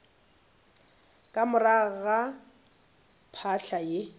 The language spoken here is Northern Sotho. ka morago ga phahla ye